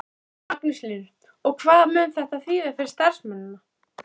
Magnús Hlynur: Og hvað mun þetta þýða fyrir starfsemina?